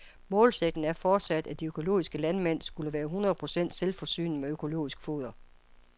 Målsætningen er fortsat, at de økologiske landmænd skulle være et hundrede procent selvforsynende med økologisk foder.